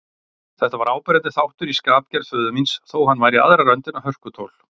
Þetta var áberandi þáttur í skapgerð föður míns, þó hann væri í aðra röndina hörkutól.